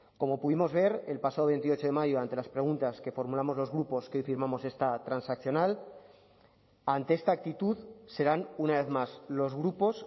como pudimos ver el pasado veintiocho de mayo ante las preguntas que formulamos los grupos que hoy firmamos esta transaccional ante esta actitud serán una vez más los grupos